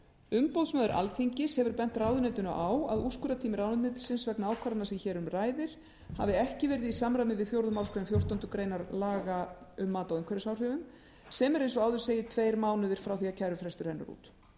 umboðsmaður alþingis hefur bent ráðuneytinu á að úrskurðartími ráðuneytisins vegna ákvarðana sem hér um ræðir hafi ekki verið í samræmi við fjórðu málsgrein fjórtándu grein laga um mat á umhverfisáhrifum sem er eins og áður segir tveir mánuðir frá því að kærufrestur rennur út